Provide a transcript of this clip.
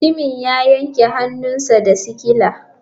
Mutumin ya yanke hannunsa da sikila.